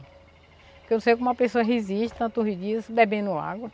Porque eu sei que uma pessoa resiste tantos dias bebendo água.